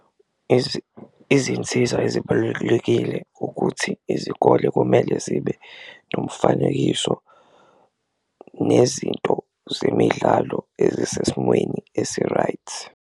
Izinsiza ezibalulekile ukuthi izikole kumele zibe nomfanekiso nezinto zemidlalo ezisesimweni esi-right.